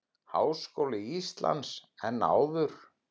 Háskóla Íslands en áður.